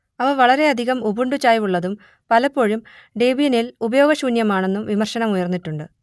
അവ വളരെയധികം ഉബുണ്ടു ചായ്വുള്ളതും പലപ്പോഴും ഡെബിയനിൽ ഉപയോഗശൂന്യമാണെന്നും വിമർശനമുയർന്നിട്ടുണ്ട്